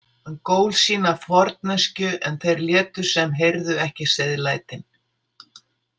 Hann gól sína forneskju en þeir létu sem heyrðu ekki seiðlætin.